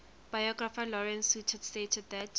biographer lawrence sutin stated that